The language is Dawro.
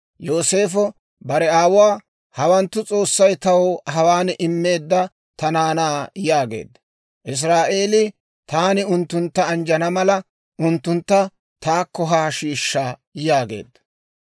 Yooseefo bare aawuwaa, «hawanttu S'oossay taw hawaan immeedda ta naanaa» yaageedda. Israa'eelii, «Taani unttuntta anjjana mala, unttuntta taakko haa shiishsha» yaageedda.